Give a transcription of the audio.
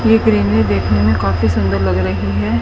ये क्रीमें देखने में काफी सुंदर लग रही हैं।